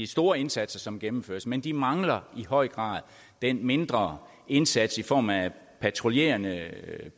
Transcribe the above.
store indsatser som gennemføres men de mangler i høj grad den mindre indsats i form af patruljerende